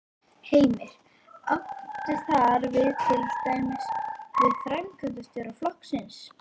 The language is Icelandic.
Heimir: Áttu þar við til dæmis við framkvæmdarstjóra flokksins?